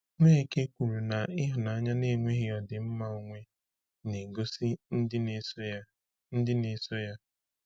Nweke kwuru na ịhụnanya na-enweghị ọdịmma onwe ga-egosi ndị na-eso ya. ndị na-eso ya.